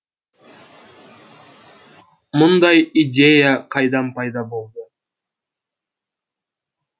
мұндай идея қайдан пайда болды